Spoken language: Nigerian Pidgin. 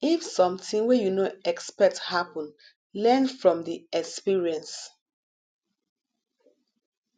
if something wey you no expect happen learn from the experience